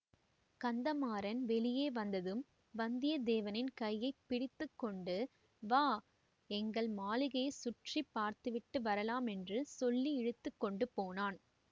கந்தமாறன் வெளியே வந்ததும் வந்தியத்தேவனின் கையை பிடித்து கொண்டு வா எங்கள் மாளிகையை சுற்றி பார்த்துவிட்டு வரலாம் என்று சொல்லி இழுத்து கொண்டு போனான்